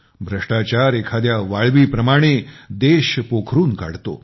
भ्रष्टाचार एखाद्या वाळवी प्रमाणे देश पोखरून काढतो